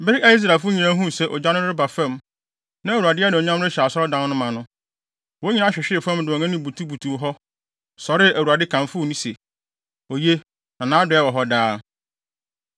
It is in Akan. Bere a Israelfo nyinaa huu sɛ ogya no reba fam, na Awurade anuonyam rehyɛ Asɔredan no ma no, wɔn nyinaa hwehwee fam de wɔn anim butubutuw hɔ, sɔree Awurade kamfoo no se, “Oye! Na nʼadɔe wɔ hɔ daa!”